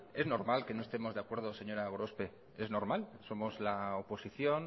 es normal que no estemos de acuerdo señora gorospe es normal somos la oposición